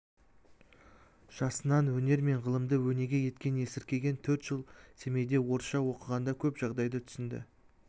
жасынан өнер мен ғылымды өнеге еткен есіркеген төрт жыл семейде орысша оқығанда көп жағдайды түсінді